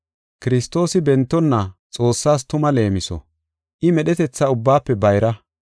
Kiristoosi bentonna Xoossaas tuma leemiso. I medhetetha ubbaafe bayra.